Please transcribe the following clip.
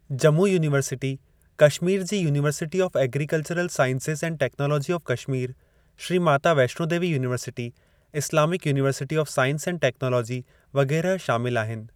Jammu university, Kashmir जी university of agricultural sciences and technology of Kashmir, Shri Mata Vaishno Devi university, Islamic university of science and technology वग़ैरह शामिल आहिनि।